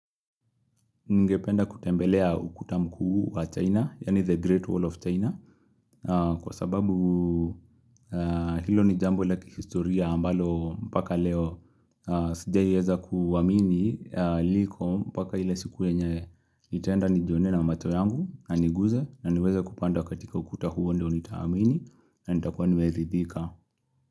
Ningependa kutembelea ukuta mkuu wa China, yaani The Great Wall of China. Kwa sababu hilo ni jambo laki historia ambalo mpaka leo sijaiweza kuamini liko mpaka ile siku yenye. Nitaenda nijione na macho yangu na niguze na niweze kupanda katika ukuta huo ndio nitaamini na nitakuwa nimeridhika.